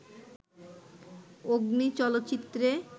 'অগ্নি' চলচ্চিত্রে